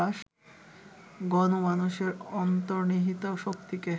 গণমানসের অন্তর্নিহিত শক্তিকে